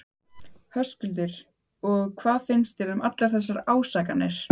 Höskuldur: Og hvað finnst þér um allar þessar ásakanir?